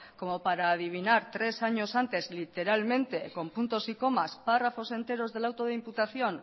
como para adivinar tres años antes literalmente con puntos y comas párrafos enteros del auto de imputación